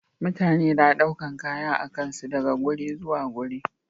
Mutane na ɗaukar Kaya akansu daga guri zuwa guri